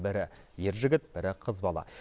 бірі ер жігіт бірі қыз бала